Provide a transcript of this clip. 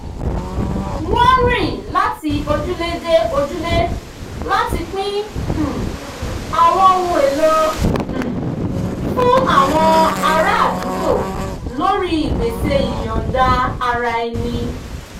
wọ́n rìn láti ojúlé dé ojúlé láti pín um àwọn ohn èlò um fún àwọn ará àdúgbò lórí ìgbésẹ̀ ìyọ̀nda-ara-ẹni